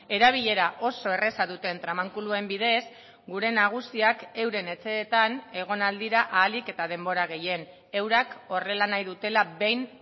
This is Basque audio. erabilera oso erraza duten tramankuluen bidez gure nagusiak euren etxeetan egon ahal dira ahalik eta denbora gehien eurak horrela nahi dutela behin